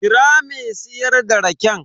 Kira me siyar da raken.